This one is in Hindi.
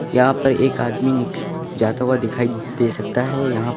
यहां पर एक आदमी जाता हुआ दिखाई दे सकता है। यहां --